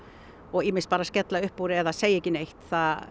og ýmist bara að skella upp úr eða að segja ekki neitt